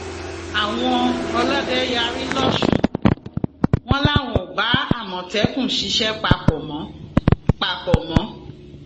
àwọn ọlọdẹ yarí lọsùn wọn làwọn ò bá àmọtẹkùn ṣiṣẹ papọ mọ papọ mọ